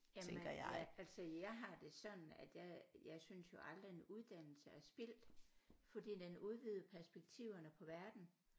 Jamen ja altså jeg har det sådan at jeg jeg synes jo aldrig en uddannelse er spildt fordi den udvider perspektiverne på verden